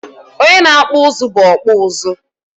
Onye na-akpọ ụzụ bụ ọkpụụzụ.